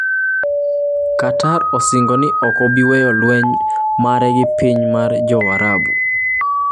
Qatar osingo ni ok obi weyo lweny mare gi pinje mag Arab